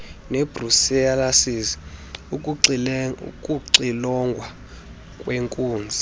nebrucellosis ukuxilongwa kweenkunzi